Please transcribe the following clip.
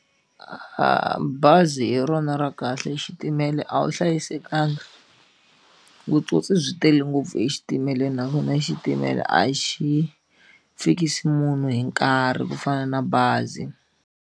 Bazi hi rona ra kahle xitimela a wu hlayisekanga vutsotsi byi tele ngopfu exitimeleni naswona xitimela a xi fikisi munhu hi nkarhi ku fana na bazi.